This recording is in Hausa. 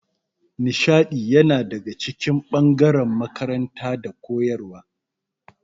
Nishaɗi yana daga cikin ɓangaren makaranta da koyarwa